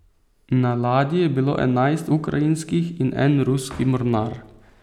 Na ladji je bilo enajst ukrajinskih in en ruski mornar.